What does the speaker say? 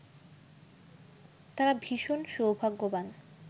তারা ভীষণ সৌভাগ্যবান